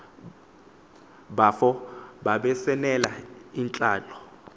bafo babesanela yintlalo